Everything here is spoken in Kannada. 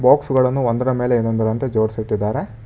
ಬಾಕ್ಸ್ ಗಳನ್ನು ಒಂದರ ಮೇಲೆ ಇನ್ನೊಂದರಂತೆ ಜೋಡಿಸಿಟ್ಟಿದ್ದಾರೆ.